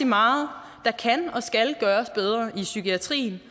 meget der kan og skal gøres bedre i psykiatrien